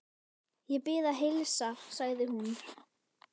Ég bið að heilsa, sagði hún.